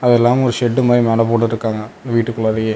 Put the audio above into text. அதில்லாம ஒரு ஷெட்டு மாரி மேல போட்டுட்டுக்காங்க வீட்டுக்குள்ளாரையே.